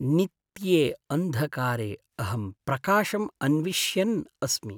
नित्ये अन्धकारे अहं प्रकाशम् अन्विष्यन् अस्मि।